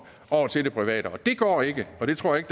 over til det private det går ikke og det tror jeg